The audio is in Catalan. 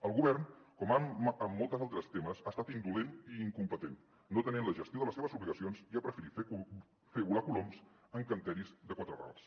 el govern com en molts altres temes ha estat indolent i incompetent no atenent la gestió de les seves obligacions i ha preferit fer volar coloms encanteris de quatre rals